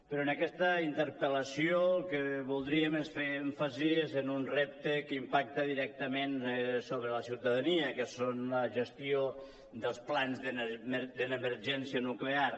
però en aquesta interpel·lació el que voldríem és fer èmfasi en un repte que impacta directament sobre la ciutadania que són la gestió dels plans d’emergència nuclear